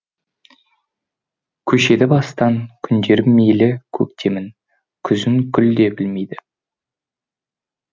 көшеді бастан күндерім мейлі көктемін күзін гүл де білмейді